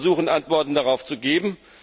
Wir versuchen, Antworten darauf zu geben.